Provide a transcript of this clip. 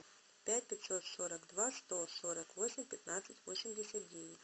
пять пятьсот сорок два сто сорок восемь пятнадцать восемьдесят девять